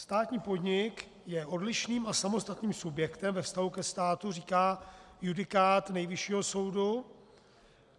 Státní podnik je odlišným a samostatným subjektem ve vztahu ke státu, říká judikát Nejvyššího soudu.